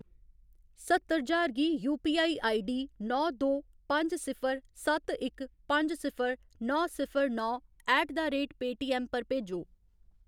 सत्तर ज्हार गी यूपीआई आईडी नौ दो पंज सिफर सत्त इक पंज सिफर नौ सिफर नौ ऐट द रेट पेऽटीऐम्म पर भेजो।